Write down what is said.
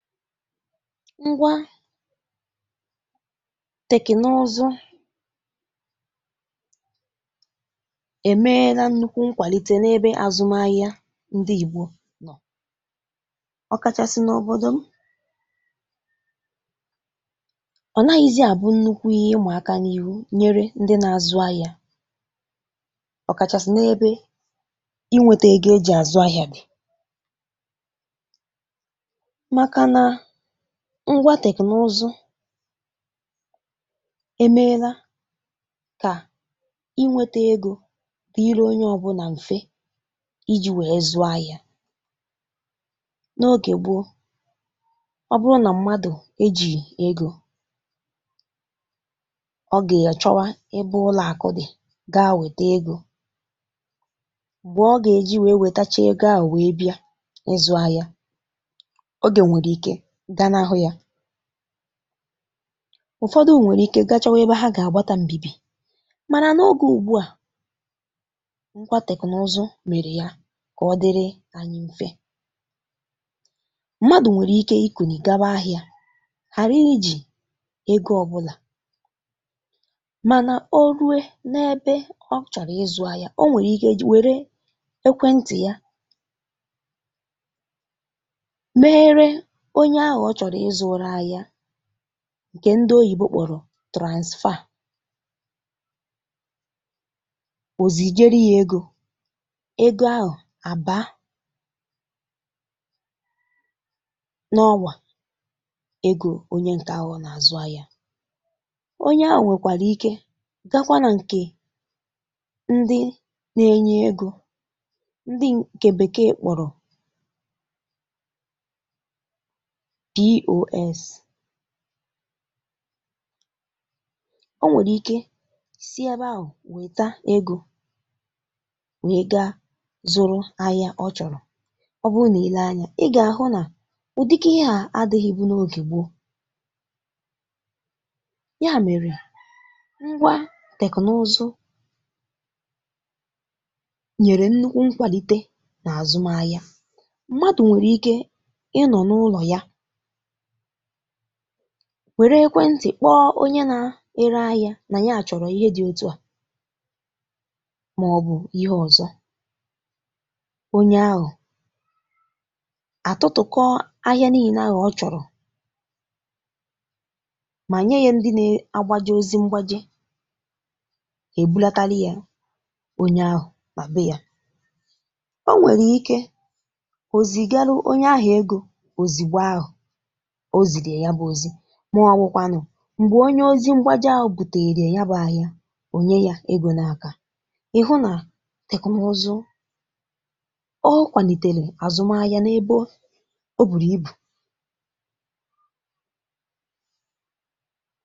Ngwá teknụụzụ e meela nnukwu nkwalite n'ebe azụmahịa ndị Igbo nọ, ọ kachasị n'obodo m. Ọ naghịzị abụ nnukwu ihe ịma aka nyere ndị na-azụ ahịa ọ kachasị n'ebe inweta ego e ji azụ ahịa dị makana ngwá teknụụzụ emeela ka inwete ego dịịrị onye ọbụla mfe iji wee zụ ahịa. N'oge gboo, ọ bụrụ na mmadụ ejighi ego, ọ ga-achọwa ebe ụlọ akụ gaa weta ego. Mgbe ọ ga-eji wee wetachaa ego ahụ wee bịa ịzụ ahịa, oge nwere ike ganahụ ya. Ụfọdụ nwere ike gaa chọwa ebe ha ga-agbata mbìbì. Mana n'oge ugbu a, ngwá teknụụzụ mere ya ka ọ dịrị anyị mfe. Mmadụ nwee ike ikuli gaba ahịa ghara iji ego ọbụla mana o rue ebe ọ chọrọ ịzụ ahịa, o nwere ike were ekwentị ya meere onye ahụ ọ chọrọ ịzụụrụ ahịa nke ndị oyibo kpọrọ transfer. O zijere ya ego. Ego ahụ a baa n'ọ́wà ego onye nke ahụ ọ na-azụ ahịa. Onye ahụ nwekwara ike gakwa na nke ndị na-enye ego ndị nke bekee kpọrọ POS. O nwere ike si ebe ahụ weta ego wee gaa zụrụ ahịa ọ chọrọ. Ọ bụrụ na i lee anya ị ga-ahụ na udika ihe a adịghịbụ n'oge gboo. Ya mere, ngwá teknụụzụ nyere nnukwu nkwalite n'azụmaahịa. Mmadụ nwere ike ịnọ n'ụlọ were ekwentị kpọọ onye na-ere ahịa na nya chọrọ ihe dị otu a maọbụ ihe ọzọ. Onye ahụ atụtụkọọ ahịa niile ahụ ọ chọrọ ma nye ya ndị na-agbaje ozi mgbaje, ha ebulatara ya onye ahụ na be ya. O nwere ike o zigarụ onye ahụ ego ozigbo ahụ o ziri ya ya bụ ozi ma ọ wụkwanụ, mgbe onye ozi mgbaje ahụ buteere ya ya bụ ahịa, o nye ya ego n'aka. Ị hụ na teknụụzụ, ọ kwalitere azụmahịa n'ebe o buru ibu.